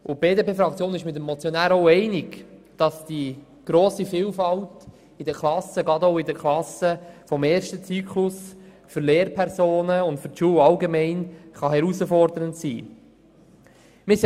Die BDPFraktion ist mit dem Motionär auch darin einig, dass die grosse Vielfalt in den Klassen, gerade auch des ersten Zyklus, für Lehrpersonen und für die Schule allgemein herausfordernd sein kann.